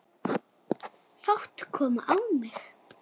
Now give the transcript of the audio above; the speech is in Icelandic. Fát kom á mig.